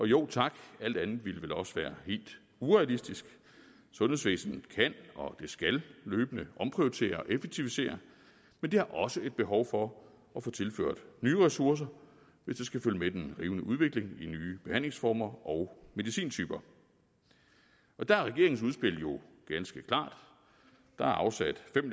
jo tak alt andet ville vel også være helt urealistisk sundhedsvæsenet kan og skal løbende omprioritere og effektivisere men det har også et behov for at få tilført nye ressourcer hvis det skal følge med den rivende udvikling i nye behandlingsformer og medicintyper der er regeringens udspil jo ganske klart der er afsat fem